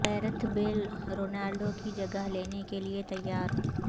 Gareth Bale Ronaldo کی جگہ لینے کے لیے تیار